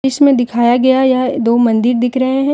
इसमें दिखाया गया यह दो मंदिर दिख रहे हैं।